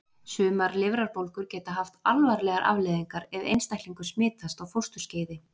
sumar lifrarbólgur geta haft alvarlegar afleiðingar ef einstaklingur smitast á fósturskeiði